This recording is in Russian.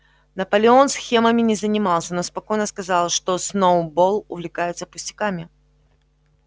наполеон схемами не занимался но спокойно сказал что сноуболл увлекается пустяками